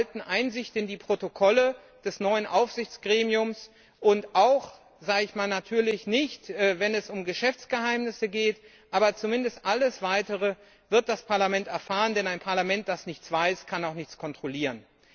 Wir erhalten Einsicht in die Protokolle des neuen Aufsichtsgremiums natürlich nicht, wenn es um Geschäftsgeheimnisse geht aber zumindest alles Weitere wird das Parlament erfahren, denn ein Parlament, das nichts weiß, kann auch nichts kontrollieren.